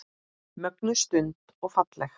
Mögnuð stund og falleg.